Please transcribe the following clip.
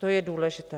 To je důležité.